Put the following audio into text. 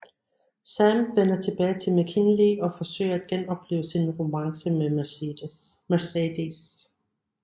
Sam vender tilbage til McKinley og forsøger at genoplive sin romance med Mercedes